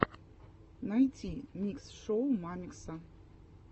найти микс шоу мамикса